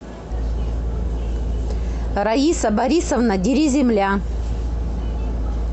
раиса борисовна дериземля